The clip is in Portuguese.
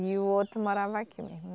E o outro morava aqui mesmo.